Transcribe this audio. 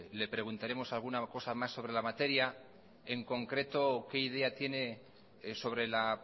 le preguntaremos alguna cosa sobre la materia en concreto qué idea tiene sobre la